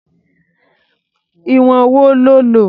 Ìwọ̀n wo lo lò?